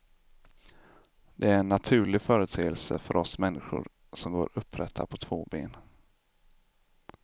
Det är en naturlig företeelse för oss människor som går upprätta på två ben.